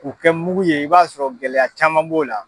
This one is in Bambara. K'u kɛ mugu ye i b'a sɔrɔ gɛlɛya caman b'o la.